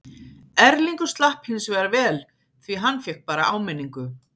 Erlingur slapp hinsvegar vel því hann fékk bara áminningu.